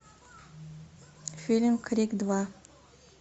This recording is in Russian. фильм крик два